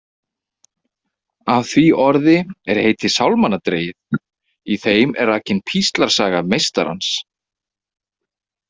Af því orði er heiti sálmanna dregið, í þeim er rakin píslarsaga meistarans.